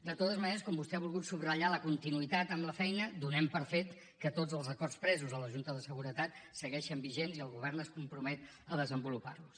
de totes maneres com que vostè ha volgut subratllar la continuïtat en la feina donem per fet que tots els acords presos a la junta de seguretat segueixen vigents i el govern es compromet a desenvolupar los